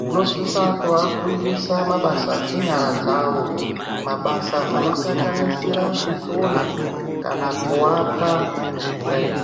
zvinosisa kuvafundisa mabasa enyara dzavo, mabasa anosanganasira kusona kana kuaka chaiko.